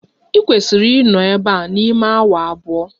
Ị kwesiri ịnọ ebe a n'ime awa abụọ!